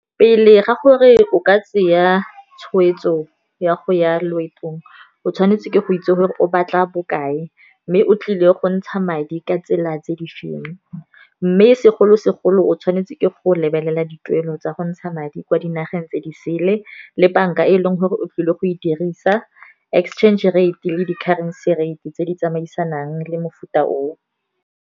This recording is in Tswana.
Pele ga gore o ka tsaya tshweetso ya go ya loeto ong o tshwanetse ke go itse gore o batla bokae, mme o tlile go ntsha madi ka tsela tse di feng. Mme segolo-segolo o tshwanetse ke go lebelela dituelo tsa go ntsha madi kwa dinageng tse di sele, le bank-a e leng gore o tlile go e dirisa, exchange rate le di-currency rate tse di tsamaisanang le mofuta oo.